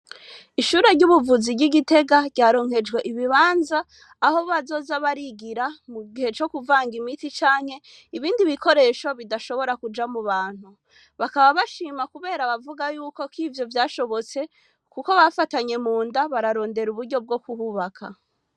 Ishure ry'ubuvuzi ry'igitega ryaronkejwe ibibanza aho bazoza barigira mu gihe co kuvanga imiti canke ibindi bikoresho bidashobora kuja mu bantu, bakaba bashima kubera abavuga yuko ko ivyo vyashobotse, kuko bafatanye mu nda bararondera uburyo bwo kuhubaka.